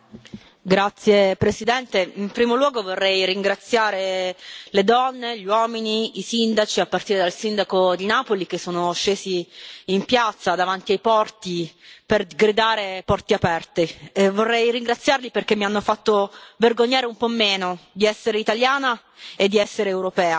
Signor Presidente, onorevoli colleghi, in primo luogo vorrei ringraziare le donne, gli uomini, i sindaci, a partire dal sindaco di Napoli, che sono scesi in piazza davanti ai porti per gridare porti aperti!. Vorrei ringraziarli perché mi hanno fatto vergognare un po' meno di essere italiana e di essere europea.